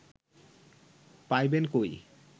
পাইবেন কই